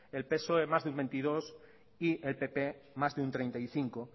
el psoe más de un veintidós por ciento y el pp más de un treinta y cinco